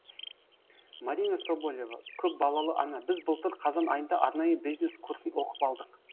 марина соболева көпбалалы ана біз былтыр қазан айында арнайы бизнес курсын оқып алдық